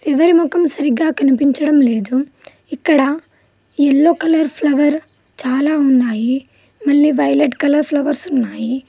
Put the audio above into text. ఎవరి మొఖం సరిగ్గా కనిపించడం లేదు ఇక్కడ యెల్లో కలర్ ఫ్లవర్ చాలా ఉన్నాయి మళ్ళీ వైలెట్ కలర్ ఫ్లవర్స్ ఉన్నాయి.